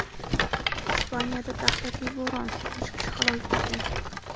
Ispaniyada dahshatli bo‘ron: uch kishi halok bo‘lgan.